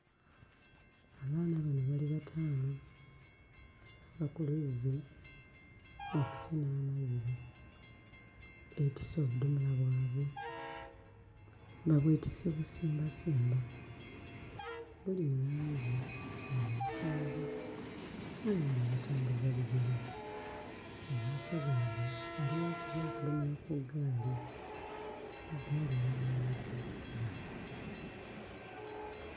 Abaana bano bali bataano bava ku luzzi okusena amazzi, beetisse obudomola bwabwe babwetisse bisimbasimba, buli mu langi eya kyenvu bali muno batambuza bigere mu maaso gaabwe waliyo asibye akadomola ku ggaali eggaali eya maanyigakifuba.